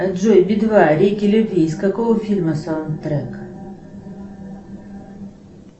джой би два реки любви из какого фильма саундтрек